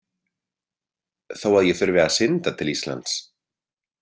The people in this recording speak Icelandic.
Þó að ég þurfi að synda til Íslands.